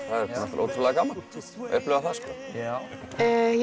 ótrúlega gaman að upplifa